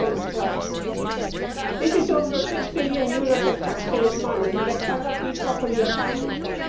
2012. That is over EUR 6 billion of taxpayers' money that cannot be properly accounted for.